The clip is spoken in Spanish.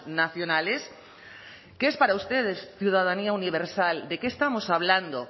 nacionales qué es para ustedes ciudadanía universal de qué estamos hablando